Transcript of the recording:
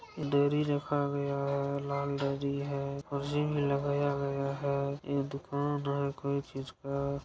डोरी रखा गया है लाल डोरी है रिंग लगाया गया है इ दुकान है किस चीज़ का।